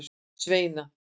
Sveina